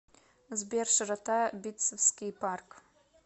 сбер широта битцевский парк